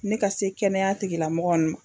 Ne ka se kɛnɛya tigilamɔgɔ